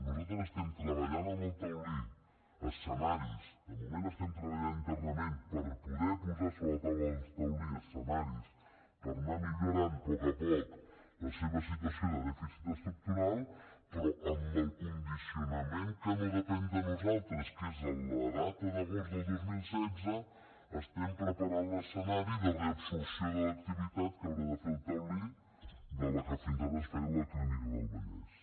nosaltres estem treballant amb el taulí escenaris de moment estem treballant internament per poder posar sobre la taula del taulí escenaris per anar millorant a poc a poc la seva situació de dèficit estructural però amb el condicionament que no depèn de nosaltres que és la data d’agost del dos mil setze estem preparant l’escenari de reabsorció de l’activitat que haurà de fer el taulí de la que fins ara es feia a la clínica del vallès